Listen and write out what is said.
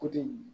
Ko den